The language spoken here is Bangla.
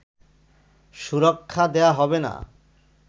সুরক্ষা দেয়া হবে না